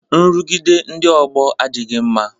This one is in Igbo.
Nrụgide ndị ọgbọ adịghị mma